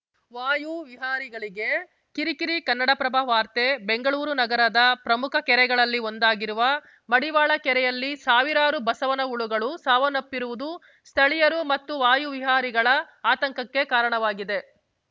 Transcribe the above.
ವಾಯು ವಿಹಾರಿಗಳಿಗೆ ಕಿರಿಕಿರಿ ಕನ್ನಡಪ್ರಭ ವಾರ್ತೆ ಬೆಂಗಳೂರು ನಗರದ ಪ್ರಮುಖ ಕೆರೆಗಳಲ್ಲಿ ಒಂದಾಗಿರುವ ಮಡಿವಾಳ ಕೆರೆಯಲ್ಲಿ ಸಾವಿರಾರು ಬಸವನ ಹುಳುಗಳು ಸಾವನ್ನಪ್ಪಿರುವುದು ಸ್ಥಳೀಯರು ಮತ್ತು ವಾಯು ವಿಹಾರಿಗಳ ಆತಂಕಕ್ಕೆ ಕಾರಣವಾಗಿದೆ